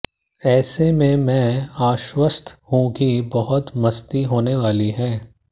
ऐसे में मैं आश्वस्त हूं कि बहुत मस्ती होने वाली है